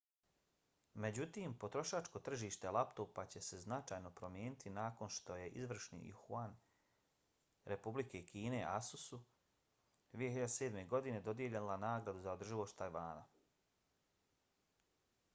međutim potrošačko tržište laptopa će se značajno promijeniti nakon što je izvršni juan republike kine asus-u 2007. godine dodijelila nagradu za održivost tajvana